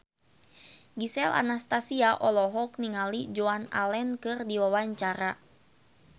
Gisel Anastasia olohok ningali Joan Allen keur diwawancara